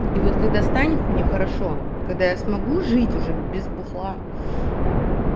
и вот когда станет мне хорошо когда я смогу жить уже без бухла